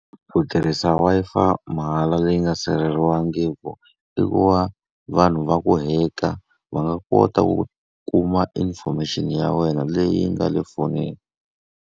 Ku tirhisa Wi-Fi mahala leyi nga sirheleriwangiki, i ku va vanhu va ku hack-a. Va nga kota ku kuma information ya wena leyi nga le fonini.